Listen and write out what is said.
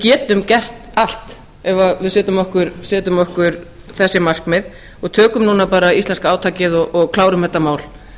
getum gert allt ef við setjum okkur þessi markmið og tökum núna bara íslenska átakið og klárum þetta mál